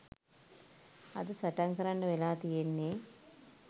අද සටන් කරන්ඩ වෙලා තියෙන්නේ.